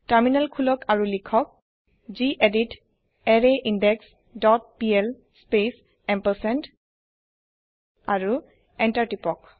terminal খুলক আৰু লিখক গেদিত আৰৰাইনদেশ ডট পিএল স্পেচ এম্পাৰচেণ্ড আৰু এন্টাৰ তিপক